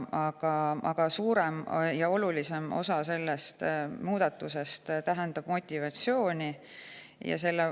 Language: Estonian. Selle muudatuse olulisim on motivatsiooni suurendamine.